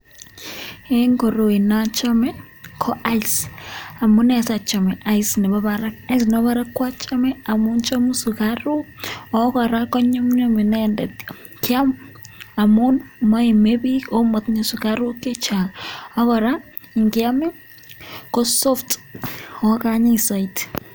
En koroi nochome, ko ice amune asiachome ice nebo barak. Ice nebo barak achame amun chomu sugaruk! Ago kora konyumnyum inendet kyam amun moime biik ago motinye sugaruk che chang. Ak kora nkyam ii ko soft oh anyin soiti.